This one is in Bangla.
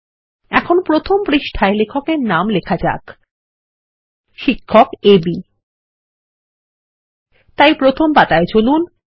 এখানে প্রথম পাতায় লেখক এর নাম লেখা যাক শিক্ষকAB তাই প্রথম পাতায় চলুন